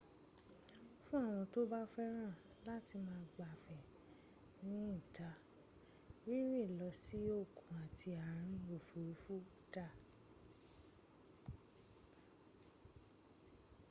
fún àwọn tí wọn bá fẹ́ràn láti máa gbáfẹ́ ní ìta rínrìn lọ sí òkun àti àárín òfurufú dár